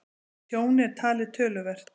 Tjón er talið töluvert